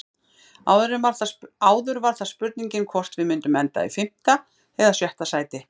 Áður var það spurningin hvort við myndum enda í fimmta eða sjötta sæti.